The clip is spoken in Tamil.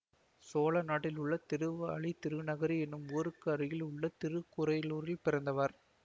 சோழ நாட்டில் உள்ள திருவாலிதிருநகரி என்னும் ஊருக்கு அருகில் உள்ள திருக்குரையலூரில் பிறந்தவர்